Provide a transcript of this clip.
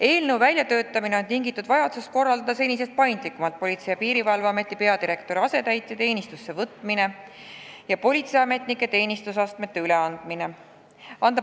Eelnõu väljatöötamine on tingitud vajadusest korraldada senisest paindlikumalt Politsei- ja Piirivalveameti peadirektori asetäitja teenistusse võtmine ja politseiametnike teenistusastmete ülendamine.